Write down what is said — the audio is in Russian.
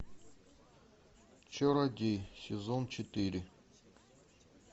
чародей сезон четыре